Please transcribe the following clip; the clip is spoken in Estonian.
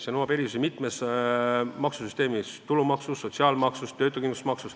See nõuab erisusi mitmes maksusüsteemis: tulumaksus, sotsiaalmaksus, töötuskindlustusmaksus.